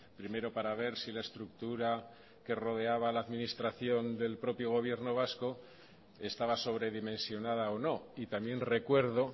primero para ver si la estructura que rodeaba la administración del propio gobierno vasco estaba sobredimensionada o no y también recuerdo